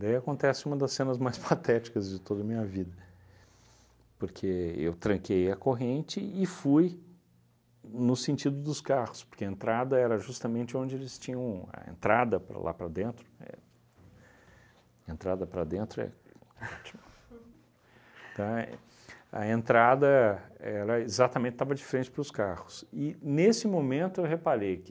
Daí acontece uma das cenas mais patéticas de toda a minha vida, porque eu tranquei a corrente e fui no sentido dos carros, porque a entrada era justamente onde eles tinham, a entrada para lá para dentro éh, entrada para dentro é ótimo, tá, a entrada era exatamente, estava de frente para os carros, e nesse momento eu reparei que